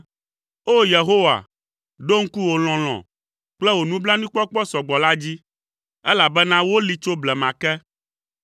O! Yehowa, ɖo ŋku wò lɔlɔ̃ kple wò nublanuikpɔkpɔ sɔgbɔ la dzi, elabena woli tso blema ke.